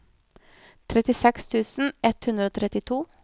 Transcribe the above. trettiseks tusen ett hundre og trettito